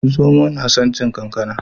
Zomo na son cin kankana